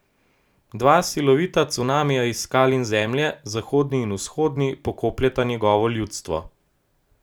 Dva silovita cunamija iz skal in zemlje, zahodni in vzhodni, pokopljeta njegovo ljudstvo.